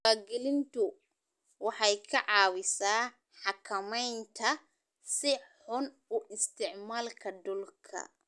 Diiwaangelintu waxay ka caawisaa xakamaynta si xun u isticmaalka dhulka.